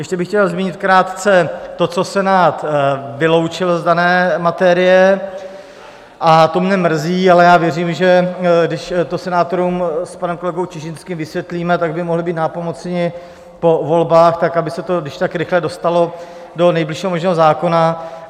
Ještě bych chtěl zmínit krátce to, co Senát vyloučil z dané materie, a to mne mrzí, ale já věřím, že když to senátorům s panem kolegou Čižinským vysvětlíme, tak by mohli být nápomocni po volbách tak, aby se to když tak rychle dostalo do nejbližšího možného zákona.